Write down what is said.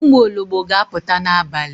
Ụmụ ologbo ga aputa n'abalị